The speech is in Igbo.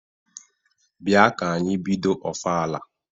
Bịa ka anyị bido ofala!